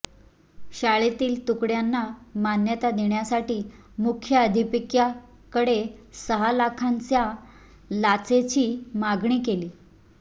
शाळेतील तुकड्यांना मान्यता देण्यासाठी मुख्याध्यापिकेकडे सहा लाखांच्या लाचेची मागणी केली